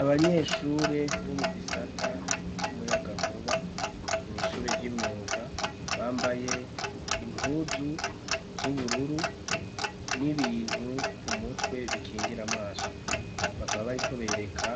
Abanyeshure bo mu gisata c'umuyagankuba mw'ishure ry'imyuga, bambaye impuzu z'ubururu n'ibintu ku mutwe bikingira amaso. Bakaba bariko bereka